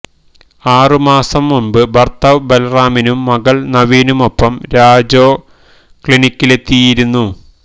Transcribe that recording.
ആറുമാസം മുമ്പ് ഭർത്താവ് ബാലറാമിനും മകൾ നവീനുമൊപ്പം രജോ ക്ലിനിക്കിലെത്തിയിയിരുന്നു